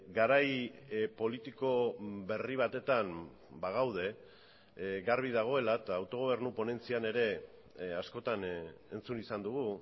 garai politiko berri batetan bagaude garbi dagoela eta autogobernu ponentzian ere askotan entzun izan dugu